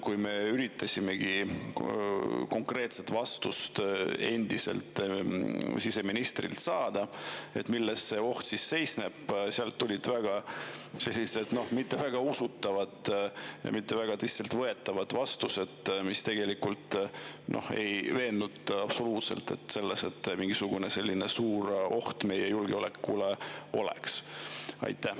Kui me üritasime saada endiselt siseministrilt konkreetset vastust, et milles see oht seisneb, siis sealt tulid sellised mitte väga usutavad, mitte väga tõsiselt võetavad vastused, mis ei veennud absoluutselt selles, et mingisugune selline suur oht meie julgeolekule oleks olemas.